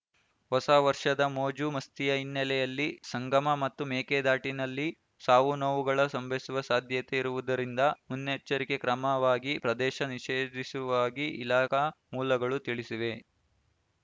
ಹೊಸ ವರ್ಷದ ಮೋಜು ಮಸ್ತಿಯ ಹಿನ್ನೆಲೆಯಲ್ಲಿ ಸಂಗಮ ಮತ್ತು ಮೇಕೆದಾಟಿನಲ್ಲಿ ಸಾವುನೋವುಗಳ ಸಂಭವಿಸುವ ಸಾಧ್ಯತೆ ಇರುವುದರಿಂದ ಮುನ್ನೆಚ್ಚರಿಕೆ ಕ್ರಮವಾಗಿ ಪ್ರದೇಶ ನಿಷೇಧಿಸುವಾಗಿ ಇಲಾಖಾ ಮೂಲಗಳು ತಿಳಿಸಿವೆ